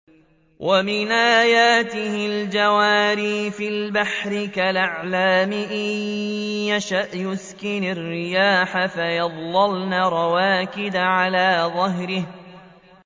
وَمِنْ آيَاتِهِ الْجَوَارِ فِي الْبَحْرِ كَالْأَعْلَامِ